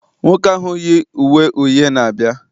nwoke ahụ yi uwe uhie na-abịa